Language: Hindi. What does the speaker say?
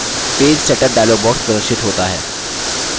page setup dialog box प्रदर्शित होता है